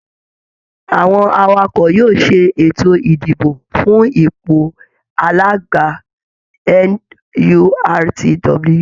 Àwọn Awakọ̀ yóò ṣe ètò idibo fún ipò alága NURTW